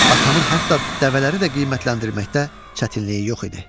Atamın hətta dəvələri də qiymətləndirməkdə çətinliyi yox idi.